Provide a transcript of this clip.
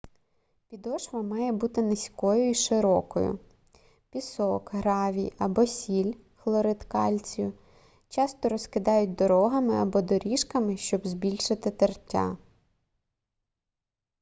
підошва має бути низькою і широкою. пісок гравій або сіль хлорид кальцію часто розкидають дорогами або доріжками щоб збільшити тертя